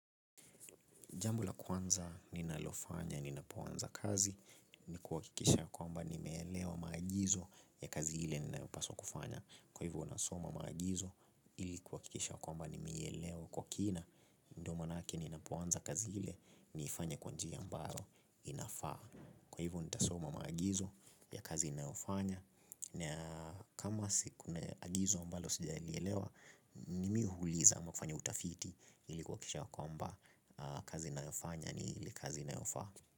Jambo la kwanza ninalofanya ninapo anza kazi ni kuhakikisha kwamba nimeelewa maagizo ya kazi ile ninayopaswa kufanya. Kwa hivyo nasoma maagizo ili kuhakikisha kwamba nimeielewa kwa kina ndo manake ninapoanza kazi ile niifanye kwa nji ambayo inafaa. Kwa hivo nitasoma maagizo ya kazi ninayofanya. Na kama sikune agizo mbalo sija ilielewa mimi huuliza ama hufanya utafiti. Ilikuwa kisha wakamba kazi na yofanya ni ili kazi na yofa.